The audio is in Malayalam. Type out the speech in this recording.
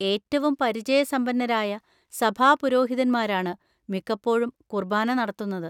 ഏറ്റവും പരിചയസമ്പന്നരായ സഭാ പുരോഹിതന്മാരാണ് മിക്കപ്പോഴും കുർബാന നടത്തുന്നത്.